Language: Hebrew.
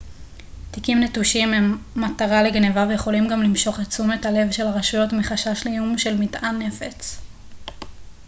תיקים נטושים הם מטרה לגנבה ויכולים גם למשוך את תשומת הלב של הרשויות מחשש לאיום של מטען נפץ